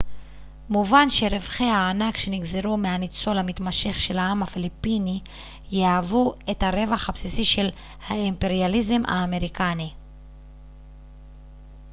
מובן שרווחי הענק שנגזרו מהניצול המתמשך של העם הפיליפיני יהוו את הרווח הבסיסי של האימפריאליזם האמריקני